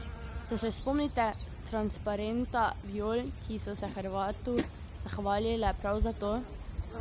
Se še spomnite transparenta viol, ki so se Hrvatu zahvalile prav za to?